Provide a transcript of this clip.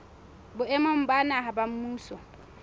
boemong ba naha ba mmuso